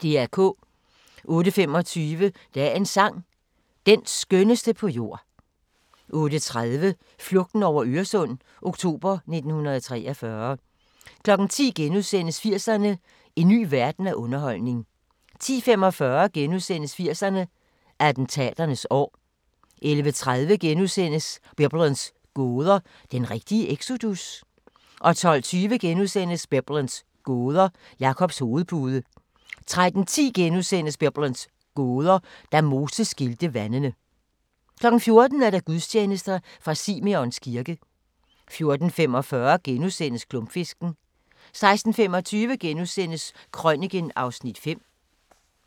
08:25: Dagens sang: Den skønneste på jord 08:30: Flugten over Øresund – oktober 1943 10:00: 80'erne: En ny verden af underholdning * 10:45: 80'erne: Attentaternes år * 11:30: Biblens gåder – den rigtige exodus? * 12:20: Biblens gåder – Jakobs hovedpude * 13:10: Biblens gåder – Da Moses skilte vandene * 14:00: Gudstjeneste fra Simeons kirke 14:45: Klumpfisken * 16:25: Krøniken (Afs. 5)*